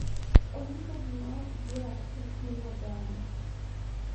Onyiso gima ok dwar e kind oganda.